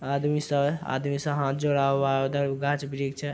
आदमी सह आदमी सह हाथ जोड़ा हुआ है उधर गाछ वृक्ष है।